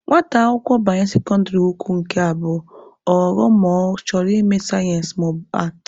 Nwata akwụkwọ banye sekọndịrị ukwu nke abụọ, ọ ghọrọ ma ọ chọrọ ịme sayensị maọbụ aatị.